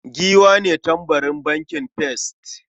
Giwa ne tambarin bankin first.